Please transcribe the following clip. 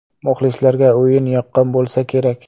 Muxlislarga o‘yin yoqqan bo‘lsa kerak.